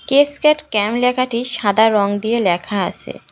Cascade camp লেখাটি সাদা রং দিয়ে লেখা আসে ।